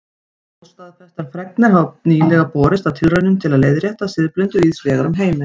Óstaðfestar fregnir hafa nýlega borist af tilraunum til að leiðrétta siðblindu víðs vegar um heiminn.